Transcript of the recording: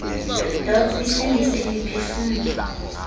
dots isindise imiphefumlo